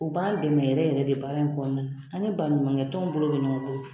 O b'an dɛmɛ yɛrɛ yɛrɛ de baara in kɔnɔna ani baɲumankɛtɔnw bolo bɛ ɲɔgɔn bolo